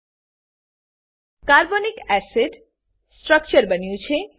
carbonic acid carbonic acid structure બન્યું છે